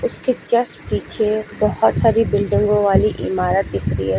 इसके जस्ट पीछे बहोत सारी बिल्डिंगों वाली इमारत दिख रही है।